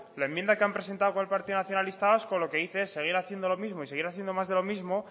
la enmienda que han presentado con el partido nacionalista vasco lo que dice es seguir haciendo lo mismo y seguir haciendo más de lo mismo